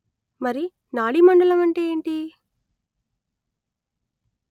మరి నాడీ మండలం అంటే ఏంటి